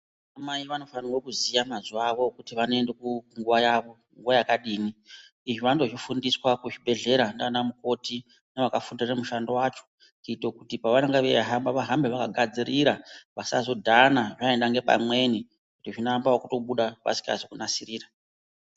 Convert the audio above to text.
Vanamai vanofanirwa kuziya mazuva avo ekuti vanoenda kunguva yavo nguva yakadini. Izvi vanotozvifundiswa kuzvibhedhlera ndianamukoti nevakafundire mushando wacho, kuito kuti pevanenga veihamba vahambe vakagadzirira vasazodhana vainda ngepamwe kuti zvinoamba ekutobuda vasikazi kunasirira.